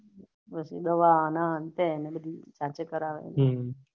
દવા આના હન્ટે ને બધી જાતે કરવાની